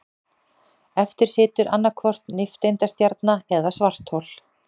Eftir situr annaðhvort nifteindastjarna eða svarthol.